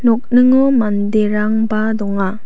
nokningo manderangba donga.